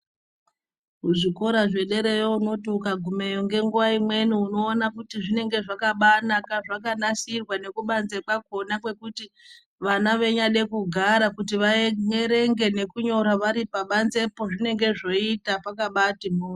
Kuzvikora zvederayo unoti ukagumeyo nenguva imweni unoona kuti zvinenge zvakabanaka zvakanasirwa nekubanze kwakona. Kwekuti vana veinyade kugara kuti vaverenge nekunyora vari pabanzepo zvinonga zvoita pakabati mhoryo.